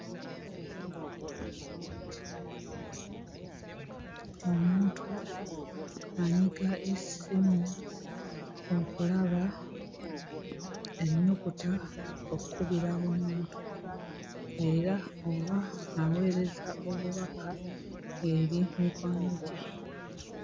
Omuntu anyiga essimu okulaba ennyukuta okkubira omuntu era oba aweereza obubaka eri mikwano gye.